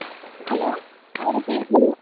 Hello hai rupee.